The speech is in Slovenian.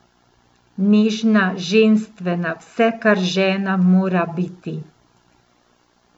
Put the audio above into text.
Nežna, ženstvena, vse kar žena mora biti.